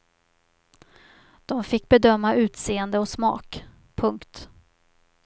De fick bedöma utseende och smak. punkt